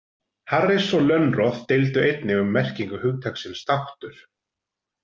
Harris og Lönnroth deildu einnig um merkingu hugtaksins þáttur.